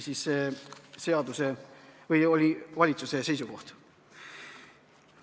See oli valitsuse seisukoht.